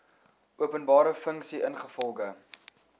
openbare funksie ingevolge